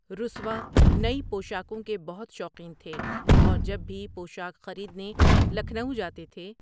رسوا نئی پوشاکوں کے بہت شوقین تھے اور جب بھی پوشاک خریدنے لکھنؤ جاتے تھے۔